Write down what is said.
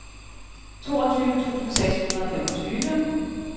toogtyve tusind seks hundrede og femogtyve